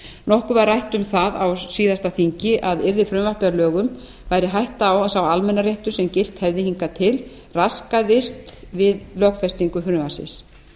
nokkuð var rætt um það á síðasta þingi að yrði frumvarpið að lögum væri hætta á að sá almannaréttur sem gilt hefði hingað til raskaðist við lögfestingu frumvarpsins